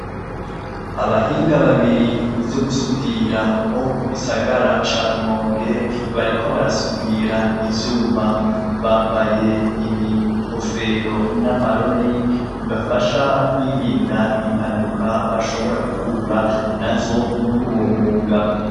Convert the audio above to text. Abahinga babiri mu vyo gusudira bo mu gisagara ca rumonge bariko barasudira ivyuma bambaye ibikofero n'amarori bibafasha kwirinda impanuka bashobora guhura na zo muri uwo mwuga.